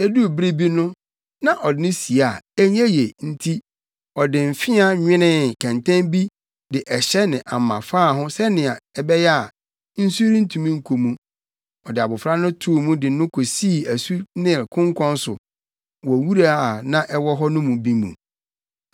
Eduu bere bi no, na ɔde no sie a ɛnyɛ yiye nti, ɔde mfea nwenee kɛntɛn bi de ɛhyɛ ne ama faa ho sɛnea ɛbɛyɛ a, nsu rentumi nkɔ mu. Ɔde abofra no too mu de no kosii asu Nil konkɔn so wɔ wura a na ɛwɔ hɔ no bi mu.